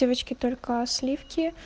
девочки только сливки